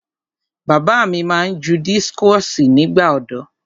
Bàbá mi máa ń ju dískọ̀sì nígbà ọ̀dọ́.